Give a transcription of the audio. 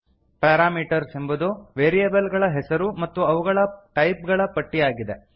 parameters ಎಂಬುದು variable ಗಳ ಹೆಸರು ಮತ್ತು ಅವುಗಳ ಟೈಪ್ ಗಳ ಪಟ್ಟಿಯಾಗಿದೆ